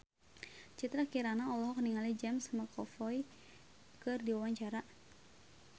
Citra Kirana olohok ningali James McAvoy keur diwawancara